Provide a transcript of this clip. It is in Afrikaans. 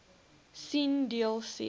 sien deel c